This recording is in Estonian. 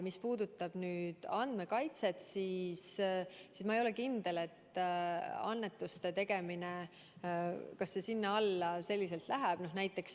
Mis puudutab andmekaitset, siis ma ei ole kindel, et annetuste tegemine sinna alla läheb.